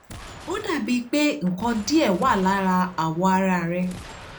ó dà bíi pé nǹkan díẹ̀ wà lára awọ ara rẹ̀